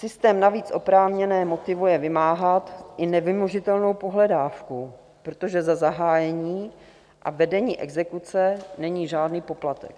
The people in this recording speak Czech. Systém navíc oprávněné motivuje vymáhat i nevymožitelnou pohledávku, protože za zahájení a vedení exekuce není žádný poplatek.